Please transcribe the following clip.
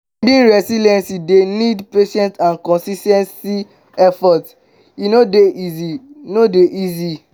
building resilience dey need patience and consis ten t effort; e no dey easy. no dey easy.